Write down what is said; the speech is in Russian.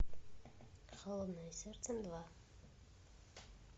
холодное сердце два